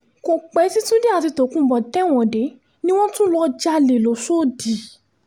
kò pẹ́ tí túnde àti tokunbo tẹ̀wọ̀n dé ni wọ́n tún lọ́ọ́ jalè lọ́shọ́dì